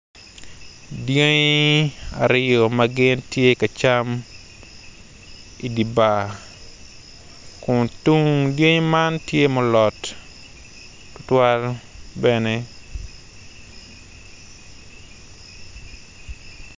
Dyangi aryo ma gin tye ka cam idibar kun tung-gi man tye ma olot tutuwal bene.